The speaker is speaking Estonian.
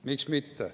Miks mitte.